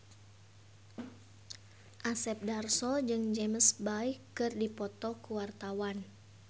Asep Darso jeung James Bay keur dipoto ku wartawan